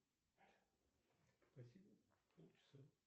в каких источниках описывается натюрморт